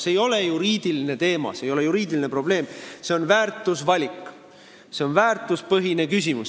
See ei ole juriidiline teema, see ei ole juriidiline probleem, see on väärtusvalik, see on väärtuspõhine küsimus.